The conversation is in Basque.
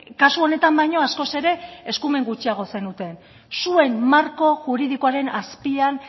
kasu honetan baino askoz ere eskumen gutxiago zenuten zuen marko juridikoaren azpian